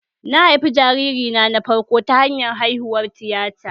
Na haifi jariri na farko ta hanyar haihuwar hallitta